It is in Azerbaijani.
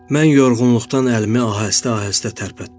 Mən yorğunluqdan əlimi ahəstə-ahəstə tərpətdim.